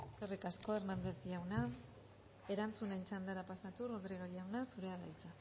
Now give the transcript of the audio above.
eskerrik asko hernández jauna erantzunen txandara pasatuz rodriguez jauna zurea da hitza